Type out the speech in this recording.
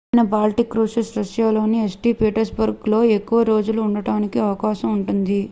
ప్రత్యేకమైన baltic cruises రష్యాలోని st. petersburgలో ఎక్కువ రోజులు ఉండటానికి అవకాశం ఉంటుంది